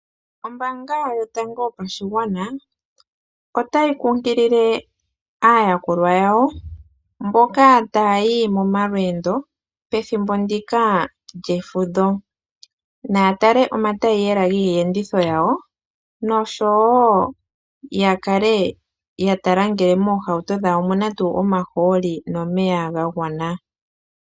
Ombaanga yotango yopashigwana otayi kunkilile aayakulwa yawo mboka taya yi momalweendo pethimbo ndika lyefudho. Naya tale omataiyela giiyenditho yawo nosho wo ya kale ya tala ngele moohauto dhawo omuna tuu omahooli nomeya ga gwana.